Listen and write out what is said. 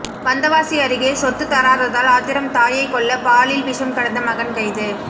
வந்தவாசி அருகே சொத்து தராததால் ஆத்திரம் தாயை கொல்ல பாலில் விஷம் கலந்த மகன் கைது